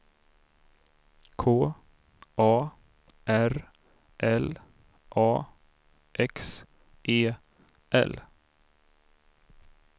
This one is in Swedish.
K A R L A X E L